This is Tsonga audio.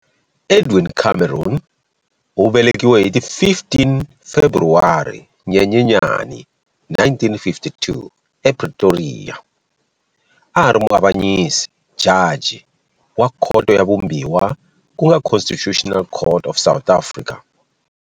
Edwin Cameron, u velekiwe hi ti 15 Februwari-Nyenyenyane 1952 ePretoria, a a ri muavanyisi, jaji, wa Khoto ya Vumbiwa ku nga Constitutional Court of South Africa.